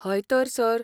हय तर, सर.